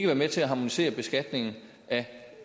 være med til at harmonisere beskatningen af